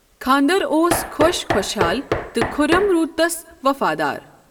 خانٛدر اوس خۄش خوشحال تہٕ خُرم روٗد تس وَفادار۔